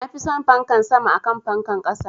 Nafi son fankan sama akan fankan ƙasa